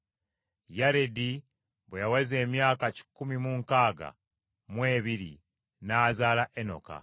Yaredi bwe yaweza emyaka kikumi mu nkaaga mu ebiri n’azaala Enoka.